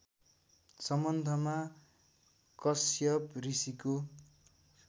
सम्बन्धमा कश्यप ऋषिको